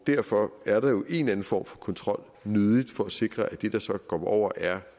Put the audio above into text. derfor er der jo en eller anden form for kontrol nødig for at sikre at det der så kommer over er